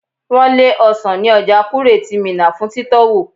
Wọn lé ọsan ní ọjà Kure ti Minna fún titowo.